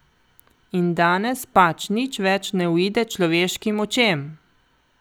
In danes pač nič več ne uide človeškim očem!